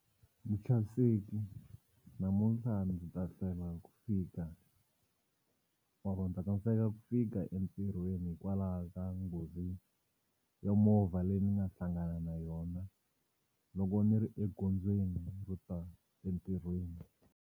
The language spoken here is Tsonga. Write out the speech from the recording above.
Muchaviseki namuntlha ni ta hlwela ku fika or-o ni ta tsandzeka ku fika entirhweni hikwalaho ka nghozi ya movha leyi ni nga hlangana na yona loko ni ri egondzweni ro ta entirhweni.